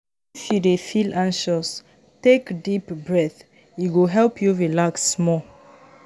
If you dey feel anxious, take deep breath; e go help you relax small.